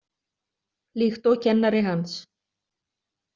Líkt og kennari hans.